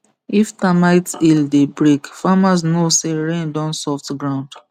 if termite hill dey break farmers know say rain don soft ground